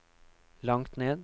langt ned